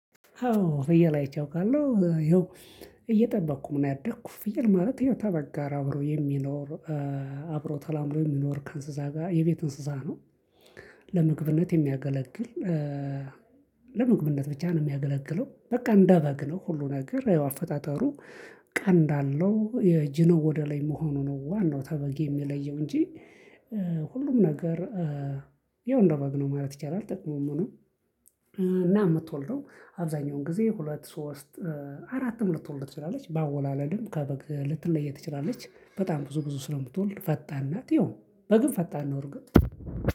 አዎ ፍየል አይቼ አውቃለሁ። እየጠበቅኩም ነው ያደኩ ፍየል ማለት ያው ተበግ ጋር አብሮ የሚኖር አብሮ ተላምዶ የሚኖር ከእንስሳ ጋር የቤት እንስሳ ነው። ለምግብነት የሚያገለግል ለምግብነት ብቻ ነው የሚያገለግለው። በቃ እንደበግ ነው ሁሉ ነገር ያው አፈጣጠሩ ቀንድ አለው የጅነው ወደ ላይ መሆኑ ነው ዋናው ተበግ የሚለየው እንጂ ሁሉም ነገር ያው እንደበግ ነው ማለት ይቻላል። ጥቅሙም ምኑም፤ እና የምትወልደው አብዛኛውን ጊዜ ሁለት ሶስት አራትም ልትወልድ ትችላለች። በአወላለድም ከበግ ልትለይ ትችላለች። በጣም ብዙ ብዙ ስለምትወልድ ፈጣን ናት ይኸው በግም ፈጣን ነው እርግጥ